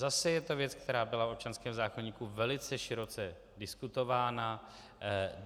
Zase je to věc, která byla v občanském zákoníku velice široce diskutována.